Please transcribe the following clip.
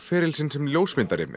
feril sinn sem ljósmyndari